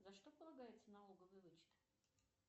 за что полагается налоговый вычет